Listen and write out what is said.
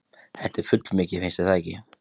Þetta er fullmikið, finnst þér ekki?